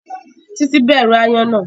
Titi bẹrù Aáyán na.